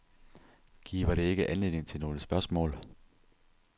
Giver det ikke anledning til nogle spørgsmål?